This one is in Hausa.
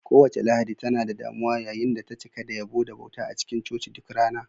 Kowace Lahadi tana da damuwa yayin da ta cika da yabo da bauta a cikin coci duk rana.